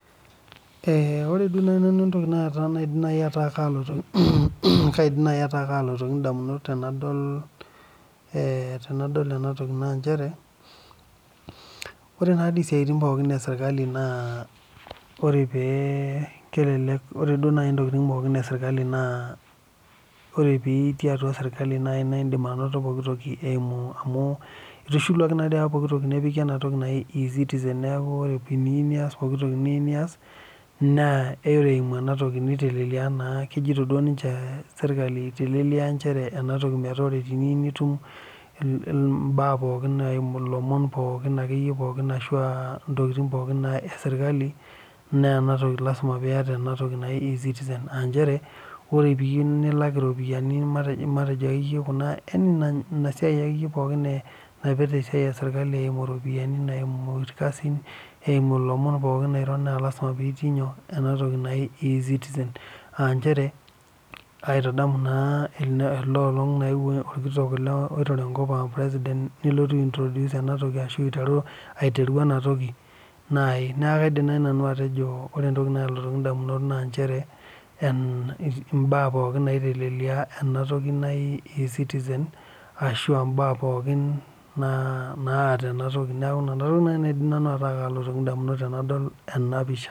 Ore duo naaji nanu entoki naidim ataa kalotu nanu edamunot tenadol ena toki naa ore esiatin pookin sirkali naa ore pee etii atua sirkali naa etum amu etishiluaki naa apa pooki toki nepiki ena toki najii ecitizen neeku ore teniyieu nias pokitoki niyieu ore eyimu ena toki kejoitoi ninche sirkali metaa teniyieu nitum elomon pookin ashu ntokitin pookin ee sirkali naa ena toki naa lasima piata enatoki ecitizen ore pee eyieu nilak eropiani enasiai pookin esirkali na lasima pee etii enatoki najii ecitizen njere kaitadamu naa ena olong nayewuo president nelotu a introduce ena toki ashu aiteru ena toki neeku kaidim naaji nanu atejo ore entoki nalotu edamunot naa mbaa pookin naitelelia ena toki naaji ecitizen ashu mbaa pookin naata pookin neeku enatoki naidim ataa kalotoki nanu edamunot tenadol ena pisha